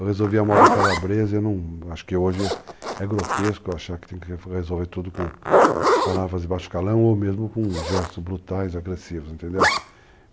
Eu resolvi a moda calabresa e acho que hoje é grotesco eu achar que tem que resolver tudo com palavras de baixo calão ou mesmo com gestos brutais, agressivos, entendeu?